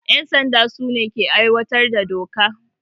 Yan sanda su ne ke aiwatar da doka.